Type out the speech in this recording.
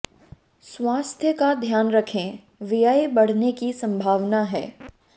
स्वास्थ्य का ध्यान रखें व्यय बढ़ने की संभावना है